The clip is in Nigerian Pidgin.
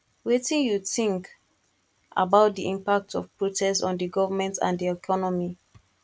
wetin you think about di impact of protest on di government and di economy